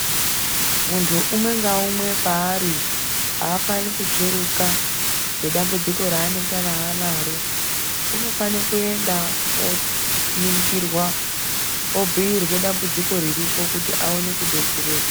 Muntu umwe ngawumwe paari, afani kutsveruka ngedambudziko ranengana anaro. Unofane kuenda oningirwa, obuyirwe dambudziko riripo kuti awone kudetsereka.